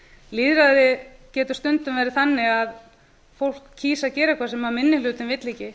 lýðræði getur stundum verið þannig að fólk kýs að gera eitthvað sem minni hlutinn vill ekki